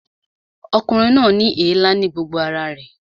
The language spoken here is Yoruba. Ọkùnrin náà ní èélá ní gbogbo ara rẹ̀